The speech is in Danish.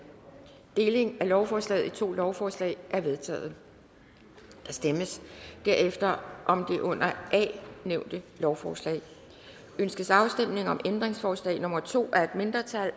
delingen af lovforslaget i to lovforslag er vedtaget der stemmes derefter om det under a nævnte lovforslag ønskes afstemning om ændringsforslag nummer to af et mindretal